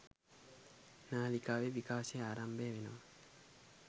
නාලිකාවේ විකාශය ආරම්භ වෙනවා.